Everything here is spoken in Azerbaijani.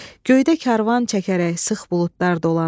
Göydə karvan çəkərək sıx buludlar dolanır.